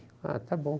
Ah, está bom.